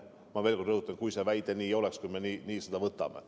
Ma rõhutan veel kord: kui see väide oleks selline, kui me seda nii võtaksime.